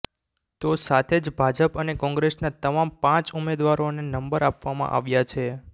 તો સાથે જ ભાજપ અને કોંગ્રેસના તમામ પાંચ ઉમેદવારોને નંબર આપવામાં આવ્યા છે